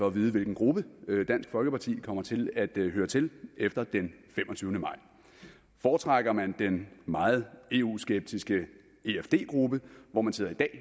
at vide hvilken gruppe dansk folkeparti kommer til at høre til efter den femogtyvende maj foretrækker man den meget eu skeptiske efd gruppe hvor man sidder i dag